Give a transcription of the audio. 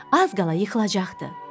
Az qala yıxılacaqdı.